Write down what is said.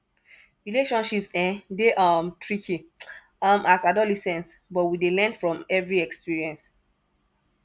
relationships um dey um tricky um as adolescent but we dey learn from every experience